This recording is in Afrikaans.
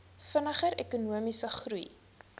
vinniger ekonomiese groei